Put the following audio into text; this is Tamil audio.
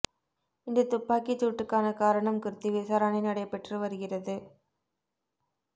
இந்த துப்பாக்கிச் சூட்டுக்கான காரணம் குறித்து விசாரணை நடைபெற்று வருகிறது